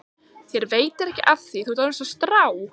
Þér veitir ekki af því, þú ert orðinn einsog strá.